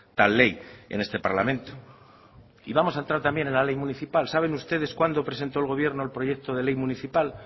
tal ley en este parlamento y vamos a entrar también en la ley municipal saben usted cuándo presentó el gobierno el proyecto de ley municipal